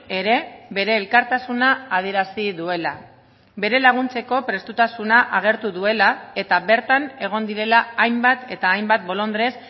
ere bere elkartasuna adierazi duela bere laguntzeko prestutasuna agertu duela eta bertan egon direla hainbat eta hainbat bolondres